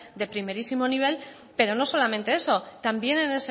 de primerísimo nivel pero no solamente eso también en